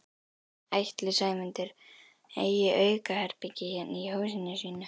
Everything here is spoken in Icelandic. Ætli Sæmundur eigi aukaherbergi hérna í húsinu sínu?